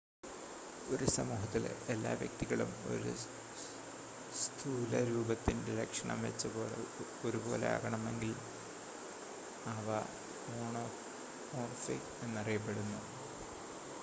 ഒരു സമൂഹത്തിലെ എല്ലാ വ്യക്തികളും ഒരു സ്ഥൂലരൂപത്തിൻ്റ ലക്ഷണം വെച്ച് ഒരുപോലെ ആണെങ്കിൽ അവ മോണോമോർഫിക് എന്നറിയപ്പെടുന്നു